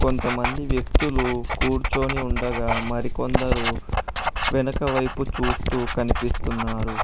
కొంతమంది వ్యక్తులు కూర్చొని ఉండగా మరికొందరు వెనుక వైపు చూస్తూ కనిపిస్తున్నారు.